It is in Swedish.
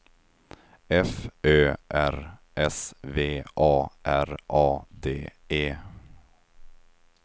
F Ö R S V A R A D E